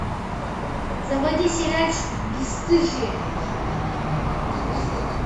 заводи сериальчик бесстыжие